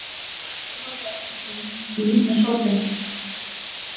Mæja horfir á eftir þeim og mundar sópinn.